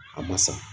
A ma sa